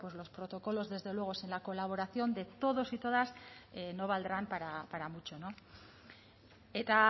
los protocolos desde luego sin la colaboración de todos y todas no valdrán para mucho eta